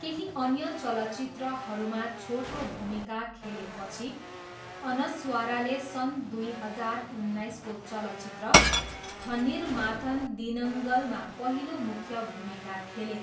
केही अन्य चलचित्रहरूमा छोटो भूमिका खेलेपछि, अनस्वाराले सन् दुई हजार उन्नाइसको चलचित्र 'थन्निर माथन दिनङ्गल' मा पहिलो मुख्य भूमिका खेले।